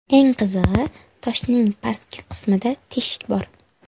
Eng qizig‘i, toshning pastki qismida teshik bor.